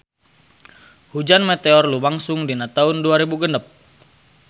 Hujan meteor lumangsung dina taun dua rebu genep